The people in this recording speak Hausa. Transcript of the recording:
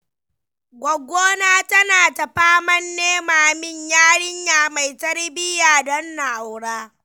Gwaggona tana ta faman nema min yarinya mai tarbiyya don na aura.